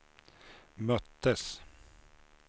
möttes